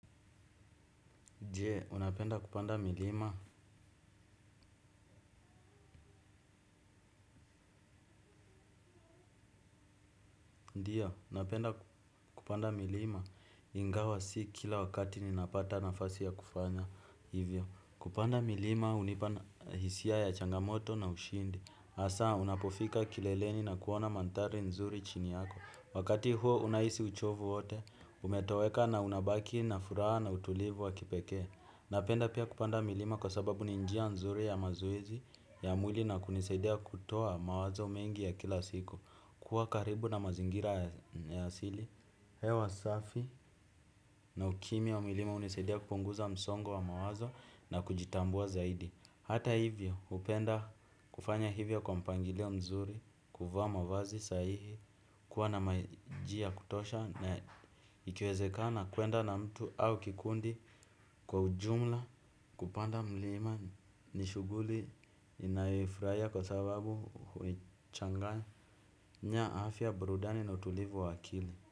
Je, unapenda kupanda milima. Ndio, napenda kupanda milima. Ingawa si kila wakati ninapata nafasi ya kufanya hivyo. Kupanda milima hunipana hisia ya changamoto na ushindi. Hasaa, unapofika kileleni na kuona mandhari nzuri chini yako. Wakati huo unahisi uchovu wote, umetoweka na unabaki na furaha na utulivu wa kipeke. Napenda pia kupanda milima kwa sababu ni njia nzuri ya mazoezi ya mwili na kunisaidia kutoa mawazo mengi ya kila siku. Kuwa karibu na mazingira ya asili hewa safi na ukimi ya milima unisaidia kupunguza msongo wa mawazo na kujitambua zaidi. Hata hivyo hupenda kufanya hivyo kwa mpangilio mzuri kuvaa wavazi sahihi. Kwa na maji ya kutosha na ikiwezekana kwenda na mtu au kikundi kwa ujumla kupanda mlima nishuguli ninaifurahia kwa sababu huichanganya afya burudani na utulivu wa akili.